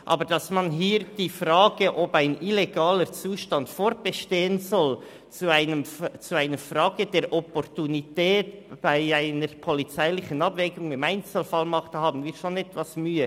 Aber damit, dass man hier die Frage, ob ein illegaler Zustand fortbestehen soll, zu einer Frage der Opportunität bei einer polizeilichen Abwägung im Einzelfall macht, haben wir schon etwas Mühe.